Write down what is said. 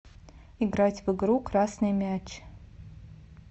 играть в игру красный мяч